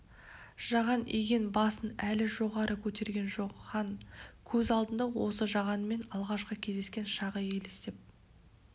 жаған иген басын әлі жоғары көтерген жоқ хан көз алдында осы жағанмен алғашқы кездескен шағы елестеп